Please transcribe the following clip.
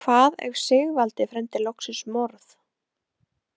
Hvað ef Sigvaldi fremdi loksins morð?